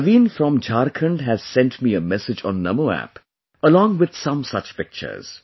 Naveen from Jharkhand has sent me a message on NamoApp, along with some such pictures